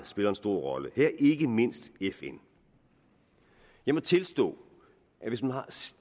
spiller en stor rolle her ikke mindst fn jeg må tilstå at